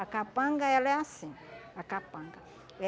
A capanga, ela é assim, a capanga.